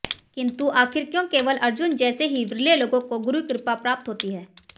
किंतु आखिर क्यों केवल अर्जुन जैसे ही विरले लोगों को गुरु कृपा प्राप्त होती है